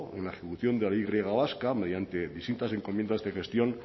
en la ejecución de la y griega vasca mediante distintas encomiendas de gestión